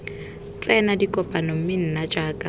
tsena dikopano mme nna jaaka